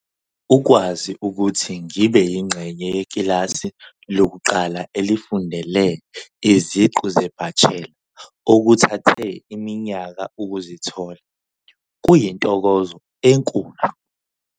Ukwazi ukuthi ngibe yingxenye yekilasi lokuqala elifundele iziqu zebachelor, okuthathe iminyaka ukuzithola, kuyintokozo enkulu.